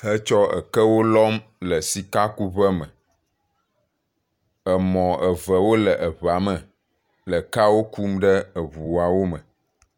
he tsɔ ekewo lɔm le sika ku ʋe me, emɔ eve wo le ʋea me, le kea wo kum ɖe eʋuawo me.